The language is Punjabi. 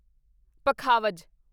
ਪਖਾਵਜ